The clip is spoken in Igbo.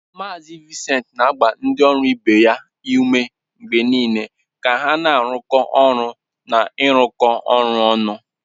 Mazị Vincent na-agba ndị ọrụ ibe ya ume mgbe niile ka ha na-arụkọ ọrụ na ịrụkọ ọrụ ọnụ.